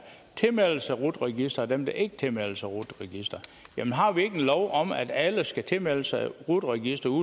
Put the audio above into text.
tilmelder sig rut registeret og så dem der ikke tilmelder sig rut registeret jamen har vi ikke en lov om at alle skal tilmelde sig rut registeret